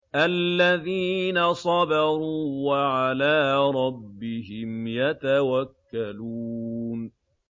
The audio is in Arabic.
الَّذِينَ صَبَرُوا وَعَلَىٰ رَبِّهِمْ يَتَوَكَّلُونَ